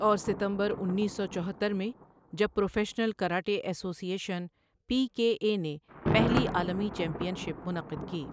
اور ستمبر انیس سو چوہتر میں جب professional karate association P K A نے پہلی عالمی چیمپئن شپ منعقد کی